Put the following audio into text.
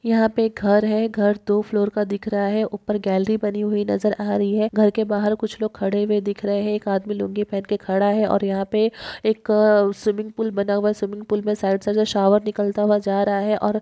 यहा पे एक घर है घर दो फ्लोअर का दिख रहा है उपर गॅलरी बनी हुई नज़र आ रही है घर के बाहर कुछ लोग खड़े हुए दिख रहे है एक आदमी लूँगी पहन के खड़ा है और यहा पे एक स्विमिंग पूल बना हुआ स्विमिंग पूल मे साइडसे जो शॉवर निकलता हुआ जा रहा है और--